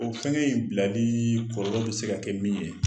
O fɛngɛ in bilali kɔlɔ bi se ka kɛ min ye